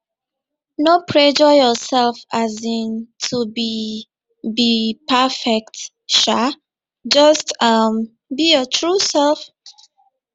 no pressure yourself um to be be perfect um just um be your true self